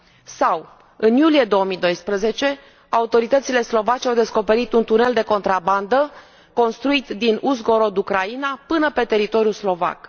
Sau, în iulie 2012, autoritățile slovace au descoperit un tunel de contrabandă construit din Uzhgorod, Ucraina, până pe teritoriul slovac.